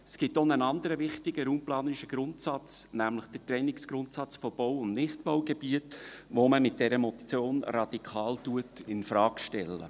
Es gibt auch einen anderen wichtigen raumplanerischen Grundsatz, nämlich den Trennungsgrundsatz von Bau- und Nichtbaugebieten, den man mit dieser Motion radikal infrage stellt.